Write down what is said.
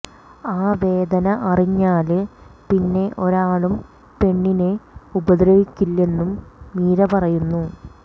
ആ വേദന അറിഞ്ഞാല് പിന്നെ ഒരാളും പെണ്ണിനെ ഉപദ്രവിക്കില്ലെന്നും മീര പറയുന്നു